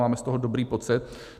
Máme z toho dobrý pocit.